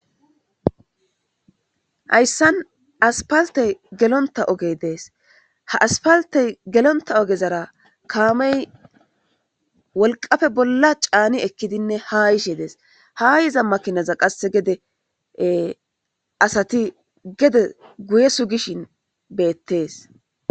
Hayssan asppaltey gelontta ogey de'es ha asppaltey gelontta ogezara kaamey wolqqafe bolla caani ekkidinne ha yishe dees ha yiza makinaza qasse gede asati gede guye sugishin bettees